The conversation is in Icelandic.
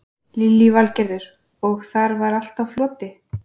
Lillý Valgerður: Og þar var allt á floti?